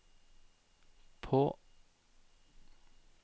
på